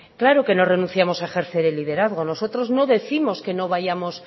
claro que no renunciamos a ejercer el liderazgo nosotros no décimos que no vayamos